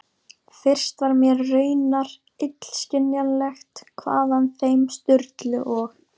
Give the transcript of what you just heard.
Fyrst var mér raunar illskiljanlegt hvaðan þeim Sturlu og